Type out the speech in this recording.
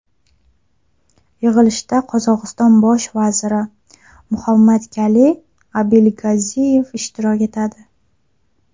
Yig‘ilishda Qirg‘iziston bosh vaziri Muhammadkaliy Abilgaziyev ishtirok etadi.